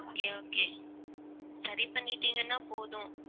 okay okay சரி பண்ணிட்டீங்கன்னா போதும்.